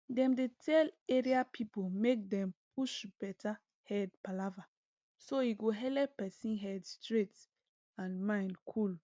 dem dey tell area people make dem push better head palava so e go helep person head straight and mind cool